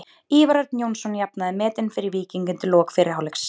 Ívar Örn Jónsson jafnaði metin fyrir Víking undir lok fyrri hálfleiks.